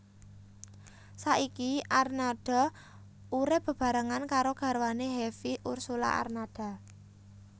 Saiki Arnada urip bebarengan karo garwane Hevie Ursulla Arnada